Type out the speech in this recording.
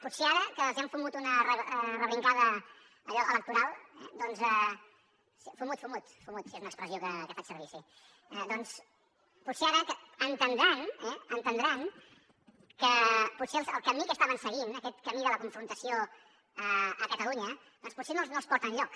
potser ara que els han fumut una rebrincada allò electoral doncs fumut fumut sí és una expressió que faig servir sí potser ara entendran eh que potser el camí que estaven seguint aquest camí de la confrontació a catalunya potser no els porta enlloc